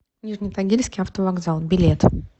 нижнетагильский автовокзал билет